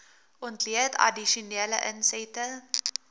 ontleed addisionele insette